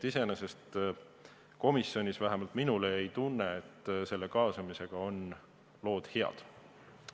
Iseenesest komisjonis vähemalt minul oli tunne, et kaasamisega on lood head.